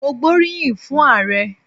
Mo gbóríyìn fún Ààrẹ.